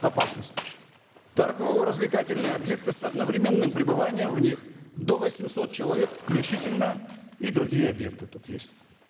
опасности торгово развлекательные объекты с одновременным пребыванием в них до восьмисот человек включительно и другие объекты тут есть